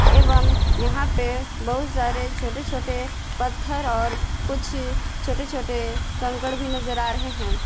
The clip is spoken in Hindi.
एवं यहां पे बहुत सारे छोटे छोटे पत्थर और कुछ छोटे छोटे कंकड़ भी नजर आ रहे हैं।